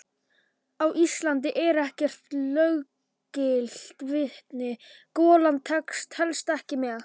Á Íslandi er ekkert löggilt vitni: golan telst ekki með.